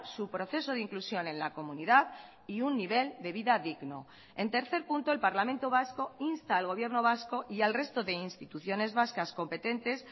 su proceso de inclusión en la comunidad y un nivel de vida digno en tercer punto el parlamento vasco insta al gobierno vasco y al resto de instituciones vascas competentes